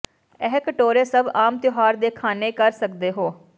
ਇਹ ਕਟੋਰੇ ਸਭ ਆਮ ਤਿਉਹਾਰ ਦੇ ਖਾਣੇ ਕਰ ਸਕਦੇ ਹੋ